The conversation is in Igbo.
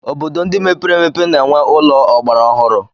Obodo ndị mepere emepe na-enwe ụlọ ọgbara ọhụrụ.